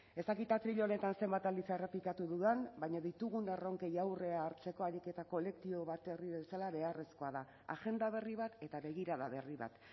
ez dakit atril honetan zenbat aldiz errepikatu dudan baina ditugun erronkei aurrea hartzeko ariketa kolektibo bat herri bezala beharrezkoa da agenda berri bat eta begirada berri bat